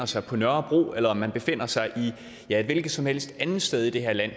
sig på nørrebro eller man befinder sig et hvilket som helst andet sted i det her land